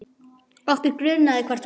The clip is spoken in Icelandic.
Okkur grunaði hvert hún lægi.